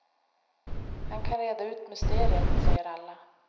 Han kan reda ut mysteriet, säger alla.